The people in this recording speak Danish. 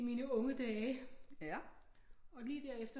I mine unge dage og lige derefter